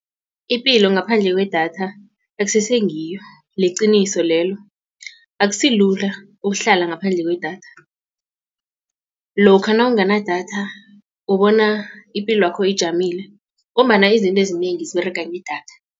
Ipilo ngaphandle kwedatha akusese ngiyo liqiniso lelo akusilula ukuhlala ngaphandle kwedatha lokha nawunganadatha ubona ipilwakho ijamile ngombana izinto ezinengi ziberega ngedatha.